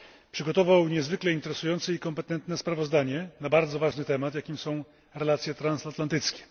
Przygotował niezwykle interesujące i kompetentne sprawozdanie na bardzo ważny temat, jakim są relacje transatlantyckie.